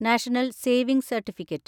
national saving certificate